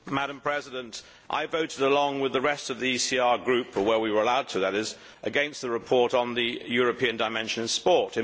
Madam President, I voted along with the rest of the ECR Group where we were allowed to, that is against the report on the European dimension in sport.